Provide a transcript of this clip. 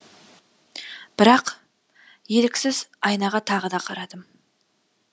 бірақ еріксіз айнаға тағы да қарадым